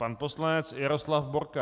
Pan poslanec Jaroslav Borka.